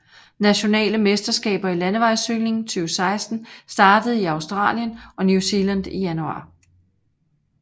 Nationale mesterskaber i landevejscykling 2016 startede i Australien og New Zealand i januar